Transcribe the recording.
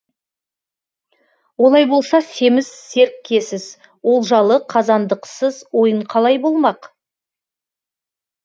олай болса семіз серкесіз олжалы қазандықсыз ойын қалай болмақ